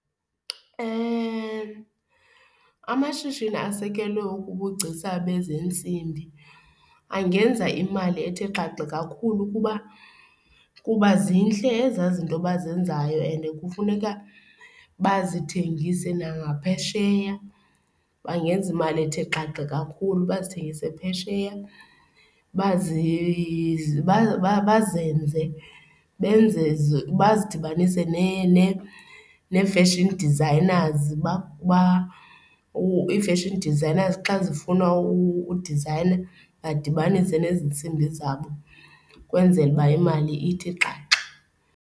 Amashishini asekelwe ubugcisa bezeentsimbi angenza imali ethe xaxe kakhulu kuba kuba zintle ezaa zinto abazenzayo ende kufuneka bazithengise, nangaphesheya bangenza imali ethe xaxe kakhulu, bazithengise phesheya. Bazi bazenze benze bazidibanise nee-fashion designers ii-fashion designers xa zifuna udizayina, badibanise nezi ntsimbi zabo ukwenzela uba imali ithi xaxa.